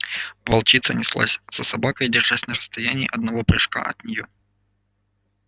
волчица неслась за собакой держась на расстоянии одного прыжка от неё